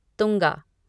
Tunga